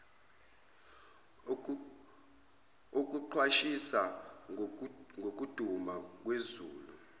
okuqwashisa ngokuduma kwezulu